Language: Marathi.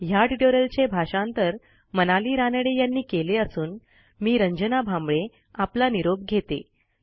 ह्या ट्युटोरियलचे भाषांतर मनाली रानडे यांनी केले असून मी रंजना भांबळे आपला निरोप घेते